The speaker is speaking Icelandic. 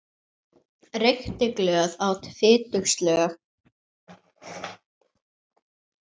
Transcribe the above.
Reykti glöð, át fitug slög.